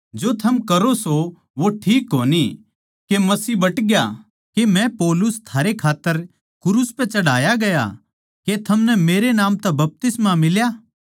जो थम करो सों वो ठीक कोनी के मसीह बट ग्या के मै पौलुस थारै खात्तर क्रूस पै चढ़ाया गया के थमनै मेरे नाम तै बपतिस्मा मिल्या